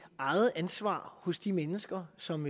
eget ansvar hos de mennesker som